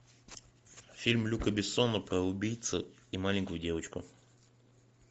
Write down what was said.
фильм люка бессона про убийцу и маленькую девочку